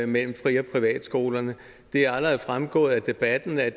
mellem fri og privatskolerne det er allerede fremgået af debatten at